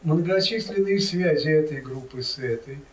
многочисленные связи этой группы с этой